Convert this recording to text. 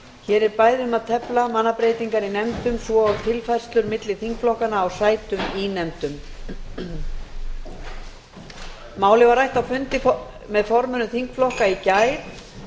hér er bæði um að tefla mannabreytingar í nefndum svo og tilfærslur á milli þingflokkanna á sætum í nefndum málið var rætt á fundi með formönnum þingflokka í gær